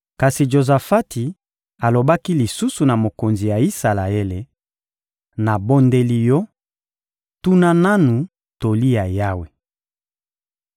Kasi Jozafati alobaki lisusu na mokonzi ya Isalaele: — Nabondeli yo, tuna nanu toli ya Yawe.